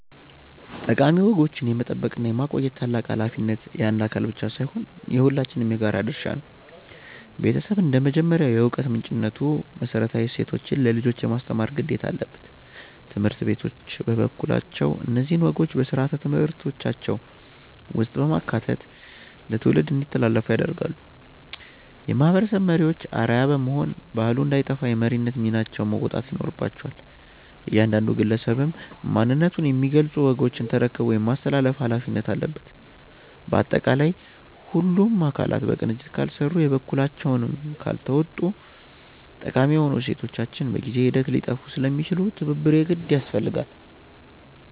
ጠቃሚ ወጎችን የመጠበቅና የማቆየት ታላቅ ኃላፊነት የአንድ አካል ብቻ ሳይሆን የሁላችንም የጋራ ድርሻ ነው። ቤተሰብ እንደ መጀመሪያው የዕውቀት ምንጭነቱ መሰረታዊ እሴቶችን ለልጆች የማስተማር ግዴታ አለበት። ትምህርት ቤቶች በበኩላቸው እነዚህን ወጎች በሥርዓተ ትምህርታቸው ውስጥ በማካተት ለትውልድ እንዲተላለፉ ያደርጋሉ። የማህበረሰብ መሪዎችም አርአያ በመሆን ባህሉ እንዳይጠፋ የመሪነት ሚናቸውን መወጣት ይኖርባቸዋል። እያንዳንዱ ግለሰብም ማንነቱን የሚገልጹ ወጎችን ተረክቦ የማስተላለፍ ኃላፊነት አለበት። ባጠቃላይ ሁሉም አካላት በቅንጅት ካልሰሩና የበኩላቸውን ካልተወጡ ጠቃሚ የሆኑ እሴቶቻችን በጊዜ ሂደት ሊጠፉ ስለሚችሉ ትብብር የግድ ያስፈልጋል።